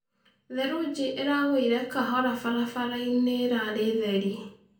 Therũjĩ ĩragũũĩre kahora barabaraĩnĩ ĩrarĩ therĩ